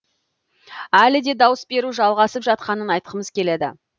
әлі де дауыс беру жалғасып жатқанын айтқымыз келеді